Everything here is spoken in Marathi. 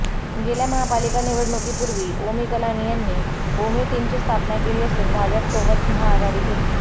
गेल्या महापालिका निवडणुकीपूर्वी ओमी कलानी यांनी ओमी टीमची स्थापना केली असून भाजप सोबत महाआघाडी केली